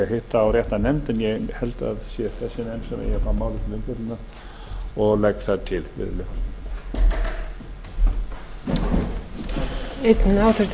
sé þessi nefnd sem eigi að fá málið til umfjöllunar og legg það til virðulegi forseti